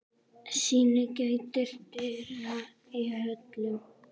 Syn gætir dyra í höllum